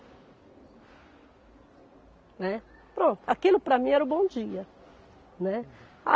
Né. Pronto, aquilo para mim era o bom dia, né.